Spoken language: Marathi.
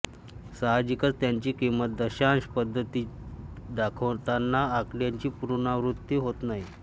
साहजिकच त्याची किंमत दशांश पद्धतीत दाखवताना आकड्यांची पुनरावृत्ती होत नाही